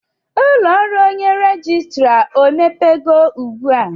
Ụlọ ọrụ onye rejistra emepego ugbu a?